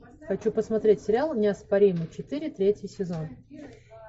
хочу посмотреть сериал неоспоримый четыре третий сезон